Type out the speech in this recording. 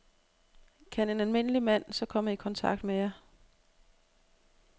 Kan en almindelig mand så komme i kontakt med jer?